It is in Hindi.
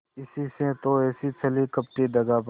इसी से तो ऐसी छली कपटी दगाबाज